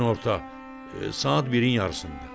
Günorta saat birin yarısında.